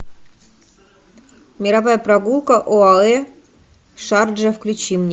мировая прогулка оаэ шарджи включи мне